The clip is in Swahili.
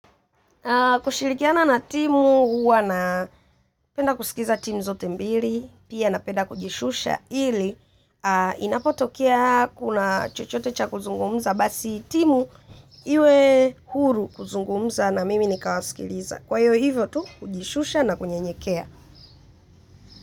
Kushirikiana na timu huwa na penda kusikiza timu zote mbili, pia na penda kujishusha ili inapotokea kuna chochote cha kuzungumza basi timu iwe huru kuzungumza na mimi nikawaskiliza. Kwayo hiyo hivyo tu kujishusha na kunyenyekea.